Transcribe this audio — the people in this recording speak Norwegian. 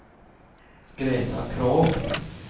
Greta Krogh